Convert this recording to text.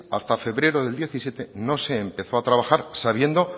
hasta febrero del diecisiete no se empezó a trabajar sabiendo